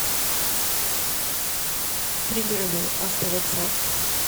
пригородный автовокзал